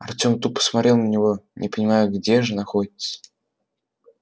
артем тупо смотрел на него не понимая где же находится